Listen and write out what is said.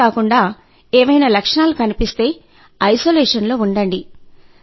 అంతేకాకుండా ఏవైనా లక్షణాలు కనిపిస్తే ఐసోలేషన్ లో ఉండండి